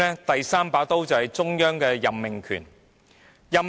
便是中央有任命權。